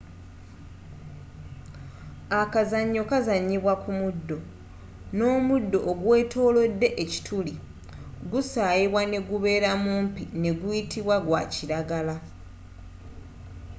akazanyo kazanyibwa ku muddo n'omuddo ogwetolodde ekituli gusayibwa negubeera mumpi neguyitibwa gwakilagala